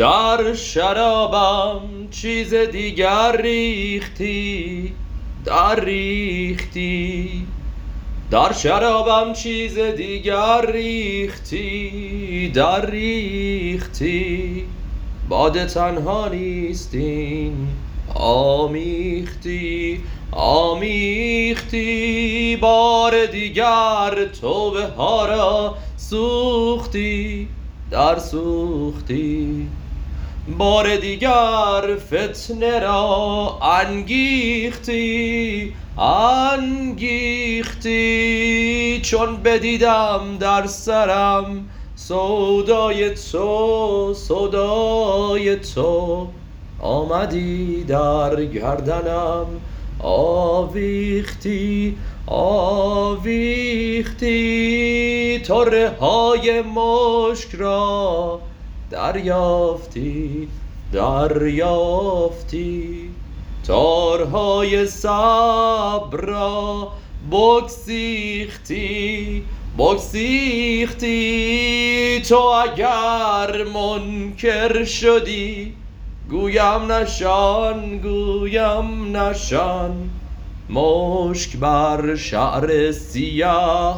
در شرابم چیز دیگر ریختی درریختی باده تنها نیست این آمیختی آمیختی بار دیگر توبه ها را سوختی درسوختی بار دیگر فتنه را انگیختی انگیختی چون بدیدم در سرم سودای تو سودای تو آمدی در گردنم آویختی آویختی طره های مشک را دربافتی دربافتی تارهای صبر را بگسیختی بگسیختی تو اگر منکر شدی گویم نشان گویم نشان مشک بر شعر سیه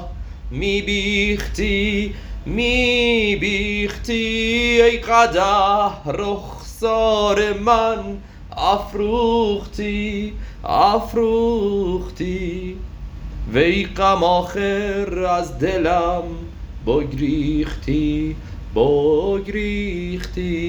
می بیختی می بیختی ای قدح رخسار من افروختی افروختی وی غم آخر از دلم بگریختی بگریختی